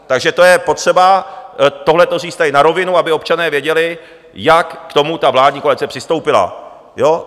Takže to je potřeba tohleto tady říct na rovinu, aby občané věděli, jak k tomu ta vládní koalice přistoupila.